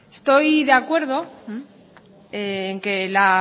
estoy de acuerdo en que la